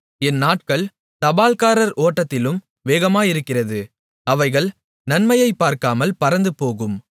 என் நாட்கள் தபால்காரர் ஓட்டத்திலும் வேகமாயிருக்கிறது அவைகள் நன்மையைப் பார்க்காமல் பறந்துபோகும்